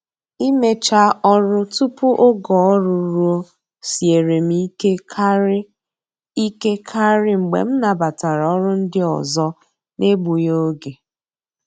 Imecha ọrụ tupu oge ọrụ ruo siere m ike karị ike karị mgbe m nabatara ọrụ ndị ọzọ n'egbughi oge.